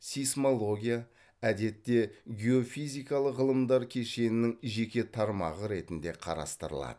сейсмология әдетте геофизикалық ғылымдар кешенінің жеке тармағы ретінде қарастырылады